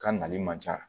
Ka nali man ca